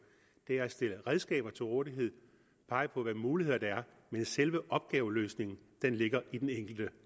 er at stille redskaber til rådighed pege på hvilke muligheder der er men selve opgaveløsningen ligger i den enkelte